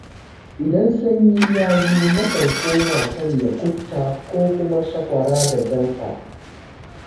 Idan sanyi ya zo nakan koma sanya kufta ko kuma shakwara da jamfa.